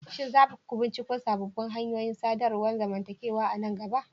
Shin za ku binciko sabbin hanyoyin sadarwar zamantakewa a nan gaba?